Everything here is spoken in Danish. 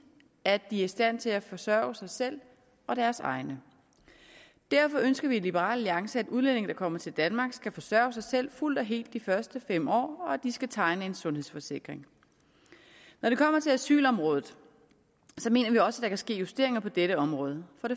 at de er i stand til at forsørge sig selv og deres egne derfor ønsker vi i liberal alliance at udlændinge der kommer til danmark skal forsørge sig selv fuldt og helt de første fem år og at de skal tegne en sundhedsforsikring når det kommer til asylområdet mener vi også der kan ske justeringer på dette område for